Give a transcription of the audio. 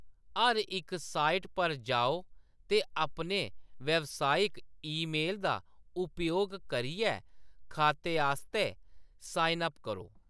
हर इक साइट पर जाओ ते अपने व्यावसायिक ईमेल दा उपयोग करियै खाते आस्तै साइन अप करो।